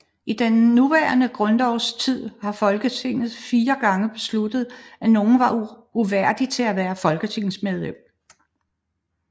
I den nuværende grundlovs tid har Folketinget fire gange besluttet at nogen var uværdig til at være folketingsmedlem